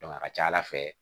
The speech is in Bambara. a ka ca ala fɛ